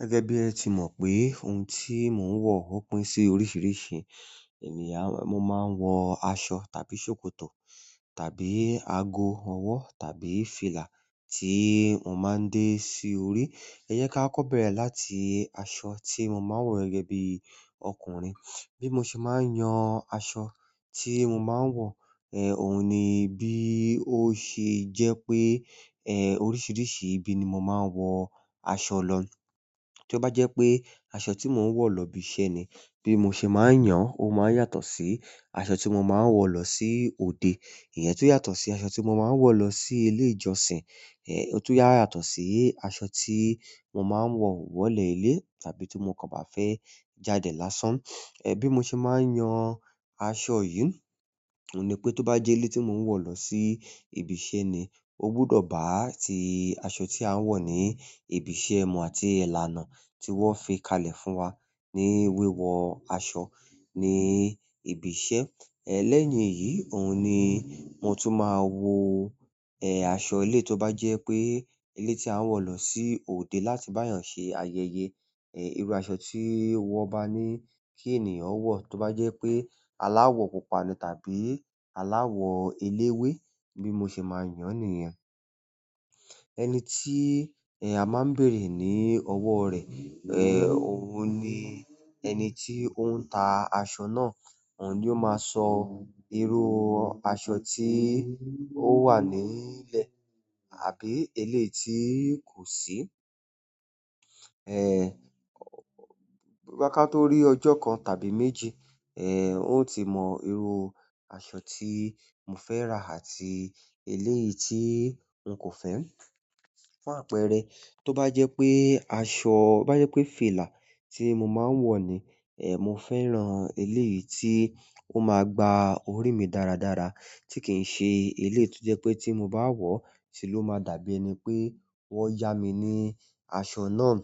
Gẹ́gẹ́ bí ẹ ti mọ̀ pé ohun tí mò ń wọ̀ ó pín sí oríṣiríṣi. Ènìyàn. Mo máa ń wọ aṣọ tàbí ṣòkòtò tàbí ago ọwọ́ tàbí fìlà tí mò máa ń dé sí orí. Ẹ jẹ kí á kọ bẹ̀rẹ̀ láti aṣọ tí mò máa ń wọ̀ gẹ́gẹ́ bí ọkùnrin. Bí mo ṣe máa ń yan aṣọ tí mò máa ń wọ̀, eh òun ni bí ó ṣe jẹ́ pé eh oríṣiríṣi ibi ni mò máa ń wọ aṣọ lọ. Tí ó bá jẹ́ pé aṣọ tí mò ń wọ̀ lọ ibi iṣẹ́ ni, bí mo ṣe máa ń yan ó máa ń yàtọ̀ sí aṣọ tí mo máa ń wọ̀ lọ sí òde. Èyí tó yàtọ̀ sí aṣọ tí mo máa ń wọ̀ lọ sí ilé ìjọsìn, eh èyí tun yàtọ̀ sí aṣọ tí mò máa ń wọ̀ wọlé ilé tàbí tí mo kàn bá fẹ́ jáde lásán. Eh bí mo ṣe máa ń yan aṣọ yìí, òun ni pé tó bá jẹ́ eleyi tí mò ń wọ̀ lọ sí ibi iṣẹ́ ni, ó gbọdọ̀ bá ti aṣọ tí a ń wọ̀ ní ibi iṣẹ́ mu àti ìlànà tí wọ́n fi kalẹ̀ fún wa ní wíwọ aṣọ ní ibi iṣẹ́. Eh lẹ́yìn èyí, òun ni mo tún máa wo eh aṣọ eleyi tó bá jẹ́ pé eleyi tí a ń wọ̀ lọ sí òde láti bá yàn ṣe ayẹyẹ, eh irú aṣọ tí wọ́n bá ní kí ènìyàn wọ̀ tó bá jẹ́ pé aláwọ̀ pupa ni tàbí aláwọ̀ eléwé. Bí mo ṣe máa yàn nìyẹn. Ẹni tí eh a máa ń bèrè ní ọwọ́ rẹ̀, eh òun ni ẹni tí ó ń ta aṣọ náà. Òun ni ó máa sọ irú aṣọ tí ó wà nílẹ̀ àbí eléyìí tí kò sí. Eh boya ka tó rí ọjọ́ kan tàbí méjì, eh won o ti mọ irú aṣọ tí mo fẹ́ rà àti eléyìí tí n kò fẹ́. Fún àpẹẹrẹ, tó bá jẹ́ pé aṣọ, bá jẹ́ pé fìlà tí mò máa ń wọ̀ ni, eh mo fẹ́ran eléyìí tí ó máa gba orí mi dáradára tí kì í ṣe eléyìí tó jẹ́ pé tí mo bá wọ̀, se ló máa dàbí ẹni pé wọ́n yá mi ní aṣọ náà.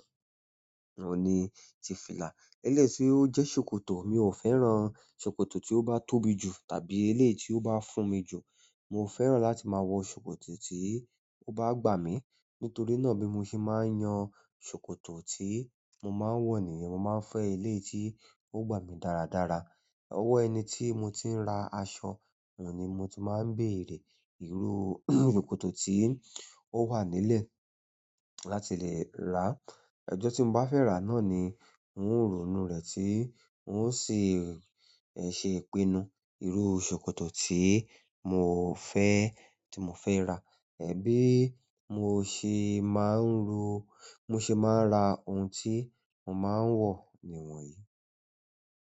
Òun ni ti fìlà. Elẹ́yi tí ó jẹ́ ṣòkòtò, mi ò fẹ́ran ṣòkòtò tí ó bá tóbi jù tàbí eléyìí tí ó bá fún mi jù. Mo fẹ́ran láti máa wọ ṣòkòtò tí ó bá gbà mí. Nítorí náà bí mo ṣe máa ń yan ṣòkòtò tí mò máa ń wọ̀ nìyẹn, mo máa ń fẹ́ eléyìí tí ó gbà mí dáradára. Owo ẹni ti mo ti n ra aṣọ oun ni mo ti maa n beere iru sokoto eleyi ti o wa nice láti le ra. Ọjọ́ tí mo bá fẹ́ rà á náà ni ń ó rònú rẹ̀ tí un o sì eh ṣe ìpinnu irú ṣòkòtò tí mò fẹ́, tí mò fẹ́ rà. Eh bí mo ṣe máa ń ro, mo ṣe máa ń ra ohun tí mò máa ń wọ̀ nìwọ̀nyí.